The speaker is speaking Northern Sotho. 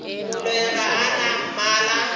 moloi ga a na mmala